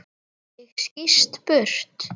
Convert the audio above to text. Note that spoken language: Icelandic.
Ég skýst burt.